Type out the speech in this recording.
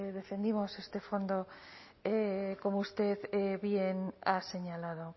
defendimos este fondo como usted bien ha señalado